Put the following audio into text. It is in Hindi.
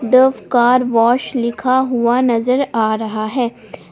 सिर्फ कार वॉश लिखा हुआ नजर आ रहा है ।